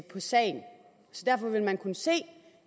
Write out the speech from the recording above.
på sagen så derfor vil man kunne se